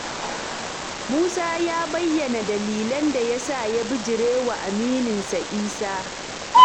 Musa ya bayyana dalilan da ya sa ya bijirewa amininsa Isa.